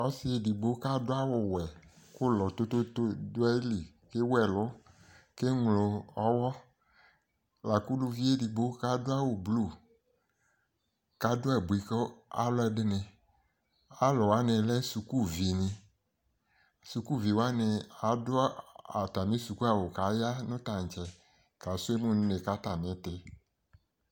Ɔsɩ edigbo kadʋ awʋ wɛ k'ʋlɔ tototo dʋ ayili, k'ewu ɛlʋ, k'eŋlo ɔwɔ lak'uluvi edigbo k'adʋ awʋ blu kadʋ abui k'alʋɛdɩnɩ Alʋwanɩ lɛ sukuvinɩ Sukuviwanɩ adʋ atamɩ Suku awʋ k'aya nʋ tantsɛ ka sʋ emu n'une k'atam'ɩtɩ